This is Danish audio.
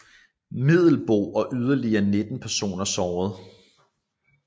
Middelboe og yderligere 19 personer såret